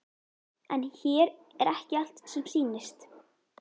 En hér er ekki allt sem sýnist.